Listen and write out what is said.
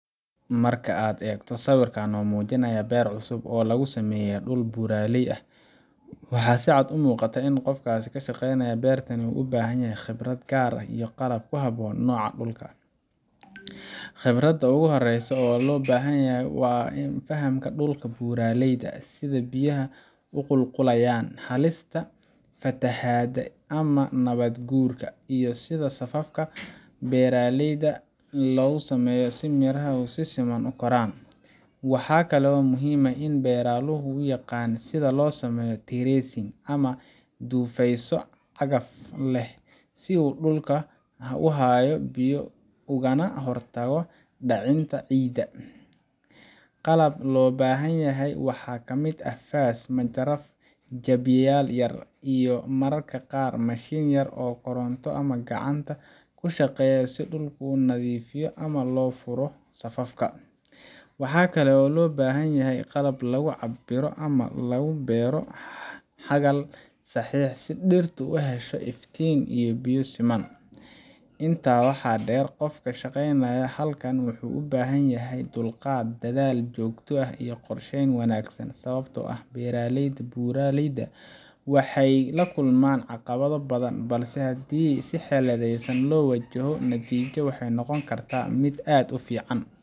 Marka aad eegto sawirkan oo muujinaya beer cusub oo lagu sameeyay dhul buuraley ah, waxaa si cad u muuqata in qofka ka shaqaynaya beertan u baahan yahay khibrad gaar ah iyo qalab ku habboon noocan dhulka ah. Khibradda ugu horreysa ee loo baahanyahay waa fahamka dhulka buuraleyda ah – sida biyaha u qulqulayaan, halista fatahaadda ama nabaad-guurka, iyo sida safafka beerta loo sameeyo si miraha si siman u koraan. Waxaa kale oo muhiim ah in beeraluhu yaqaan sida loo sameeyo "terracing" ama dhufeysyo cagaf leh, si dhulku u hayo biyaha ugana hortago dhicitaanka ciidda. Qalabka loo baahan yahay waxa ka mid ah faas, majarafad, jabiyayaal yaryar, iyo mararka qaar mashiin yar oo koronto ama gacanta ku shaqeeya si dhulka loo nadiifiyo ama loo furo safafka. Waxaa kale oo loo baahan yahay qalab lagu cabbiro ama lagu beero xagal sax ah, si dhirtu u hesho iftiin iyo biyo siman. Intaa waxaa dheer, qofka ka shaqaynaya halkan wuxuu u baahan yahay dulqaad, dadaal joogto ah, iyo qorsheyn wanaagsan – sababtoo ah beeraleyda buuraleyda ah waxay la kulmaan caqabado badan, balse hadii si xeeladaysan loo wajaho, natiijadu waxay noqon kartaa mid aad u fiican.